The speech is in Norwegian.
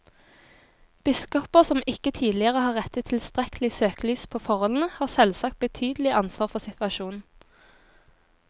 Biskoper som ikke tidligere har rettet tilstrekkelig søkelys på forholdene, har selvsagt betydelig ansvar for situasjonen.